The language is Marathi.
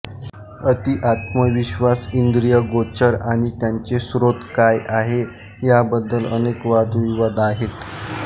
अति आत्मविश्वास इंद्रियगोचर आणि त्याचे स्रोत काय आहे याबद्दल अनेक वादविवाद आहेत